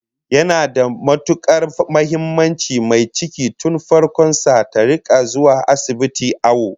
Yana da matukar muhimmanci mai ciki tun farkon sa ta rika zuwa asibiti awo